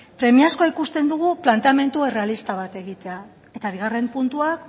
premiazkoa ikusten dugu planteamendu errealista bat egitea eta bigarren puntua